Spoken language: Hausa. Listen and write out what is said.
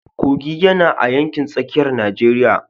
Kogi yana a yankin tsakiyar Najeriya.